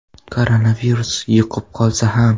Koronavirus yuqib qolsa ham.